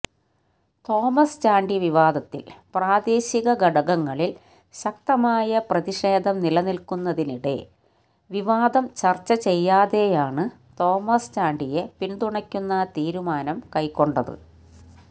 Thomas Chandy വിവാദത്തില് പ്രാദേശിക ഘടകങ്ങളില് ശക്തമായ പ്രതിഷേധം നിലനില്ക്കുന്നതിനിടെ വിവാദം ചര്ച്ച ചെയ്യാതെയാണ് തോമസ്ചാണ്ടിയെ പിന്തുണയ്ക്കുന്ന തീരുമാനം കൈക്കൊണ്ടത്